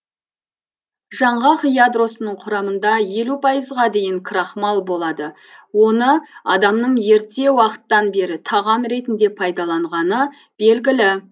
жаңғақ ядросының құрамында елу пайызға дейін крахмал болады оны адамның ерте уақыттан бері тағам ретінде пайдаланғаны белгілі